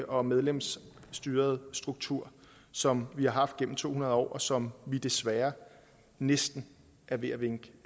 og medlemsstyrede struktur som vi har haft gennem to hundrede år og som vi desværre næsten er ved at vinke